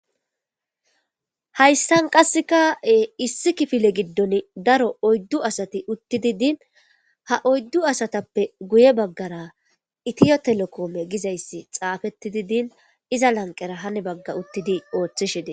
hayssan qasseka issi kifile giddon daro oyddu asati uttidi din ha oyddu asatappe guye baggara itiyo telekoome gizayssi xaafeti di din iza lanqera hane bagga uttidi ooththishidei